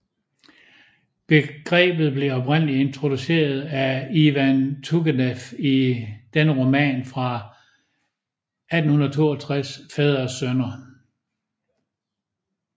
Begrebet blev oprindeligt introduceret af Ivan Turgenev i dennes roman fra 1862 Fædre og sønner